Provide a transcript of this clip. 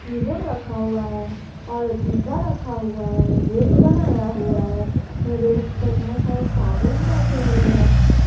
Keyboard रखा हुआ है और डिब्बा रखा हुआ है रैक बनाया हुआ है रैक पर बहुत सारा साबुन रखे हुए हैं।